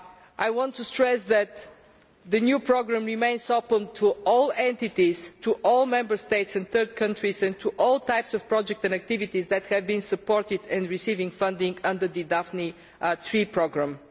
I want to stress that the new programme remains open to all entities, all Member States and third countries, and all types of projects and activities that have been supported and are receiving funding under the Daphne III programme.